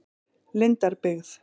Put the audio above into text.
Lindarbyggð